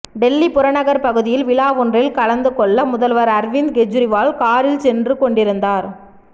டெல்லி புறநகர் பகுதியில் விழா ஒன்றில் கலந்து கொள்ள முதல்வர் அர்விந்த் கெஜ்ரிவால் காரில் சென்று கொண்டிருந்தார்